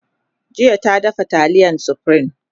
jiya ta dafa taliyar supreme